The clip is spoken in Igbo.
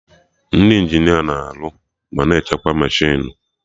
Ndị Injinia na-arụ ma na-echekwa mechinu